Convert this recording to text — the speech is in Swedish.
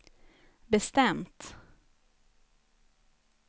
bestämt